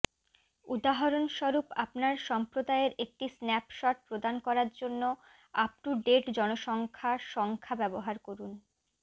উদাহরণস্বরূপ আপনার সম্প্রদায়ের একটি স্ন্যাপশট প্রদান করার জন্য আপ টু ডেট জনসংখ্যা সংখ্যা ব্যবহার করুন